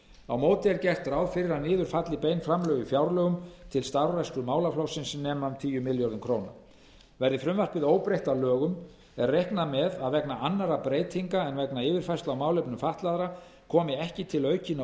á móti er gert ráð fyrir að niður falli bein framlög í fjárlögum til starfrækslu málaflokksins sem nema um tíu milljörðum króna verði frumvarpið óbreytt að lögum er reiknað með að vegna annarra breytinga en yfirfærslu á málefnum fatlaðra komi ekki til aukinna